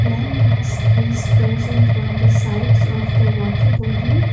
landmask is present on the sides of the water body.